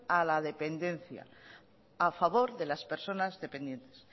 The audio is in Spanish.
a la dependencia a favor de las personas dependientes